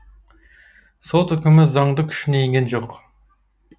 сот үкімі заңды күшіне енген жоқ